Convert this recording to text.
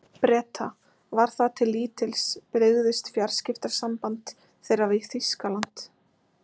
Breta, var það til lítils, brygðist fjarskiptasamband þeirra við Þýskaland.